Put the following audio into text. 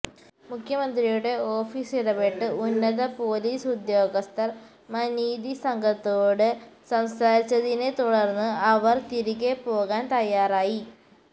മുഖ്യമന്ത്രിയുടെ ഓഫീസ് ഇടപെട്ട് ഉന്നത പോലീസ് ഉദ്യോഗസ്ഥര് മനീതി സംഘത്തോട് സംസാരിച്ചതിനെ തുടര്ന്ന് അവര് തിരികെ പോകാന് തയാറായി